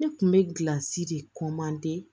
Ne kun bɛ gilansi de